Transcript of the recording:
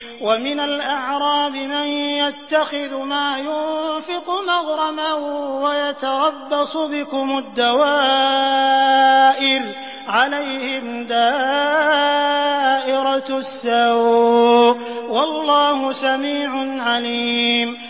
وَمِنَ الْأَعْرَابِ مَن يَتَّخِذُ مَا يُنفِقُ مَغْرَمًا وَيَتَرَبَّصُ بِكُمُ الدَّوَائِرَ ۚ عَلَيْهِمْ دَائِرَةُ السَّوْءِ ۗ وَاللَّهُ سَمِيعٌ عَلِيمٌ